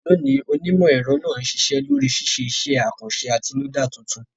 Lónìí, onímọ̀-ẹ̀rọ náà ń ṣiṣẹ́ lórí ṣíṣe iṣẹ́ àkànṣe àtinúdá tuntun.